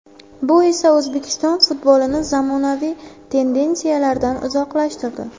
Bu esa o‘zbek futbolini zamonaviy tendensiyalardan uzoqlashtirdi.